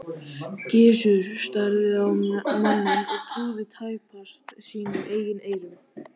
Gizur starði á manninn og trúði tæpast sínum eigin eyrum.